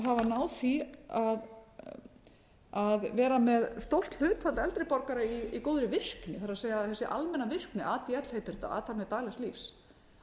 náð því að vera með stórt hlutfall eldri borgara í góðri virkni það er þessi almenna virkni adl heitir þetta athafnir daglegs lífs